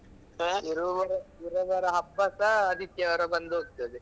ಇರೋ ಬರೋ ಇರೋ ಬರೋ ಹಬ್ಬಸಾ ಆದಿತ್ಯವಾರ ಬಂದು ಹೋಗ್ತದೆ.